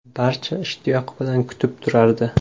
Barcha ishtiyoq bilan kutib turardi.